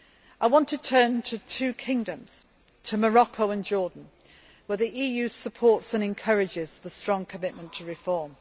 UN. I now want to turn to two kingdoms, Morocco and Jordan, where the EU supports and encourages the strong commitment to reform.